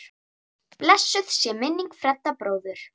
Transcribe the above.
Blessuð sé minning Fredda bróður.